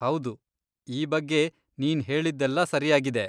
ಹೌದು, ಈ ಬಗ್ಗೆ ನೀನ್ ಹೇಳಿದ್ದೆಲ್ಲ ಸರ್ಯಾಗಿದೆ.